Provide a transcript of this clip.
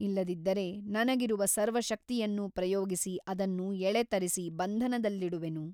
ಇಲ್ಲದಿದ್ದರೆ ನನಗಿರುವ ಸರ್ವಶಕ್ತಿಯನ್ನೂ ಪ್ರಯೋಗಿಸಿ ಅದನ್ನು ಎಳೆತರಿಸಿ ಬಂಧನದಲ್ಲಿಡುವೆನು.